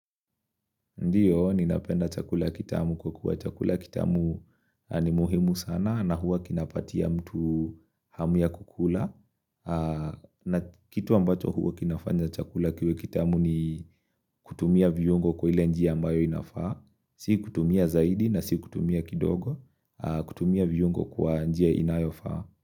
Ndiyo ninapenda chakula kitamu kwa kuwa chakula kitamu ni muhimu sana na huwa kinapatia mtu hamu ya kukula na kitu ambacho huwa kinafanya chakula kiwe kitamu ni kutumia viungo kwa ile njia ambayo inafaa Sio kutumia zaidi na sio kutumia kidogo kutumia viungo kwa njia inayofaa.